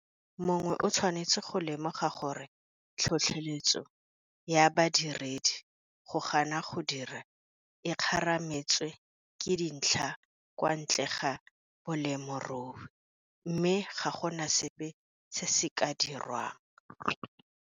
Le gale, mongwe o tshwanetse go lemoga gore tlhotlheletso ya badiredi go gana go dira e kgarametswa ke dintlha kwa ntle ga bolemirui mme ga go na sepe se se ka dirwang.